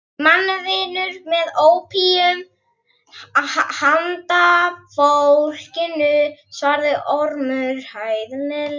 Mannvinur með ópíum handa fólkinu, svaraði Ormur hæðnislega.